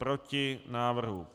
Proti návrhu.